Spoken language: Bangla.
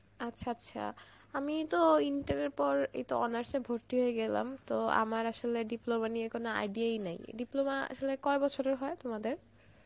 আচ্ছা আচ্ছা আমি তো এই inter এর পর এইত honours এ ভর্তি হয়েগেলাম, তো আমার আসলে diploma নিয়ে কোনো idea ই নেই, diploma আসলে কয় বছরের হয় তোমাদের?